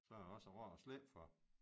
Så er det også rart at slippe for